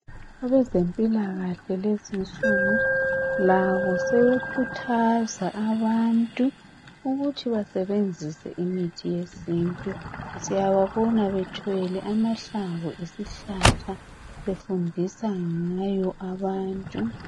Abezempilakahle lezinsuku labo sebekhuthaza abantu ukuthi basebenzise imithi yesintu siyababona bethwele amahlamvu esihlahla befundisa ngawo abantu